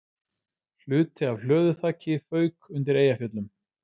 Hluti af hlöðuþaki fauk undir Eyjafjöllum